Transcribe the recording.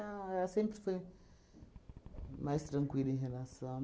Não, ela sempre foi mais tranquila em relação.